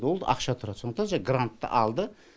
ол ақша тұрады сондықтан жаңа грантты алды